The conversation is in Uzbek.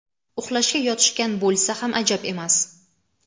uxlashga yotishgan bo‘lsa ham ajab emas.